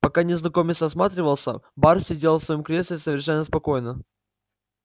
пока незнакомец осматривался бар сидел в своём кресле совершенно спокойно